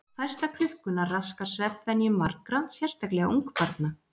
Færsla klukkunnar raskar svefnvenjum margra, sérstaklega ungbarna.